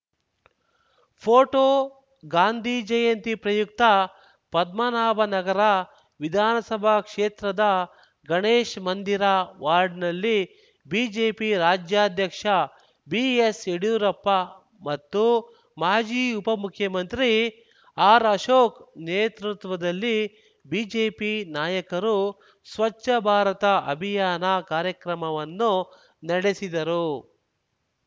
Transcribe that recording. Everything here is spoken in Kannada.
ಫೋಟೋ ಗಾಂಧಿ ಜಯಂತಿ ಪ್ರಯುಕ್ತ ಪದ್ಮನಾಭನಗರ ವಿಧಾನಸಭಾ ಕ್ಷೇತ್ರದ ಗಣೇಶ್‌ ಮಂದಿರ ವಾರ್ಡ್‌ನಲ್ಲಿ ಬಿಜೆಪಿ ರಾಜ್ಯಾಧ್ಯಕ್ಷ ಬಿಎಸ್‌ಯಡಿಯೂರಪ್ಪ ಮತ್ತು ಮಾಜಿ ಉಪಮುಖ್ಯಮಂತ್ರಿ ಆರ್‌ಅಶೋಕ್‌ ನೇತೃತ್ವದಲ್ಲಿ ಬಿಜೆಪಿ ನಾಯಕರು ಸ್ವಚ್ಛ ಭಾರತ ಅಭಿಯಾನ ಕಾರ್ಯಕ್ರಮವನ್ನು ನಡೆಸಿದರು